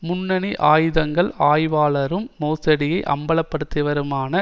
முன்னணி ஆயுதங்கள் ஆய்வாளரும் மோசடியை அம்பலப்படுத்தியவருமான